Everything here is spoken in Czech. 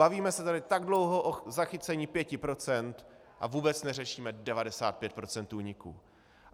Bavíme se tady tak dlouho o zachycení 5 % a vůbec neřešíme 95 % úniků.